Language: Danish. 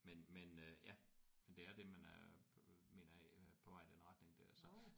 Men men øh ja men det er det man er mener jeg på vej i den retning der så